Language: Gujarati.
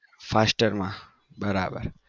faster માં બરાબર